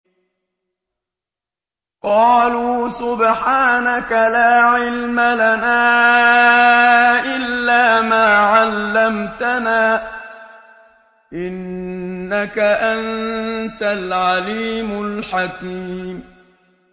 قَالُوا سُبْحَانَكَ لَا عِلْمَ لَنَا إِلَّا مَا عَلَّمْتَنَا ۖ إِنَّكَ أَنتَ الْعَلِيمُ الْحَكِيمُ